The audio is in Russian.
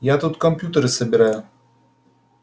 я тут компьютеры собираю